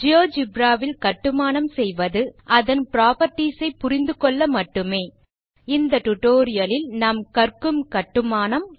GeoGebra வில் கட்டுமானம் செய்வது அதன் புராப்பர்ட்டீஸ் ஐ புரிந்துகொள்ள மட்டுமே இந்த டுடோரியலில் நாம் கற்கும் கட்டுமானம்